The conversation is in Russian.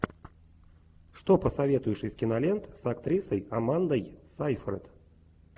что посоветуешь из кинолент с актрисой амандой сейфрид